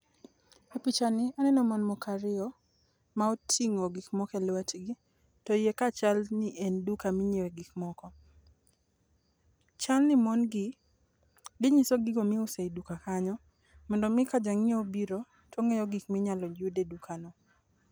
E pichani aneno mon moko ariyo ma otingo gik moko e lwetgi to iye kae chal ni en duka minyiew gik moko. Chal ni mon gi, ginyiso gigo miuso e duka kanyo mondo mi ka janyiewo obiro to ngeyo gik ma yud e duka kanyo